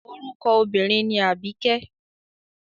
Orúkọ obínrin ni Àbíkẹ́.